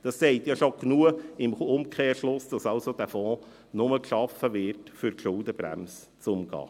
Dies sagt bereits genug im Umkehrschluss, dass dieser Fonds nur geschaffen wird, um die Schuldenbremse zu umgehen.